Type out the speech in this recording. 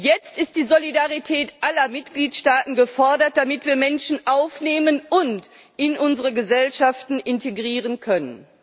Jetzt ist die Solidarität aller Mitgliedstaaten gefordert, damit wir Menschen aufnehmen und in unsere Gesellschaften integrieren können.